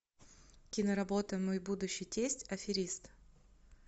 киноработа мой будущий тесть аферист